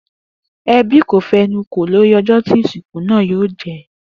Ebí kò fenu kò lórí ojó tí ìsìnkú náà yóò jé